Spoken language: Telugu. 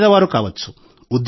పేదవారు కావచ్చు